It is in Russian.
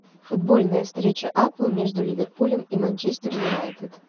футбольная встреча апл между ливерпулем и манчестер юнайтед